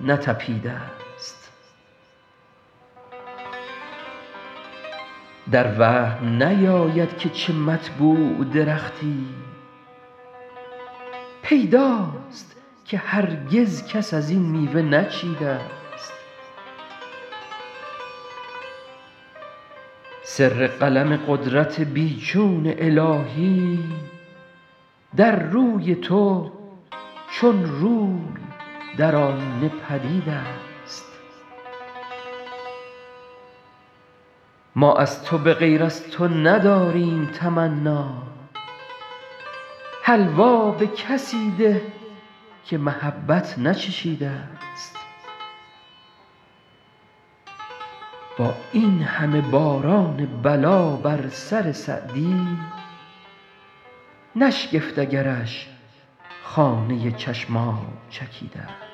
نتپیده ست در وهم نیاید که چه مطبوع درختی پیداست که هرگز کس از این میوه نچیده ست سر قلم قدرت بی چون الهی در روی تو چون روی در آیینه پدید است ما از تو به غیر از تو نداریم تمنا حلوا به کسی ده که محبت نچشیده ست با این همه باران بلا بر سر سعدی نشگفت اگرش خانه چشم آب چکیده ست